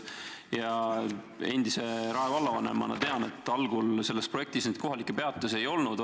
Endise Rae vallavanemana ma tean, et algul selles projektis kohalikke peatusi ei olnud.